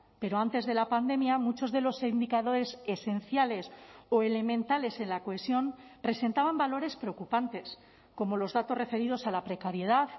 pero antes de la pandemia muchos de los indicadores esenciales o elementales en la cohesión presentaban valores preocupantes como los datos referidos a la precariedad